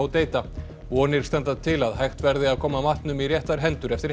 Hodeida vonir standa til að hægt verði að koma matnum í réttar hendur eftir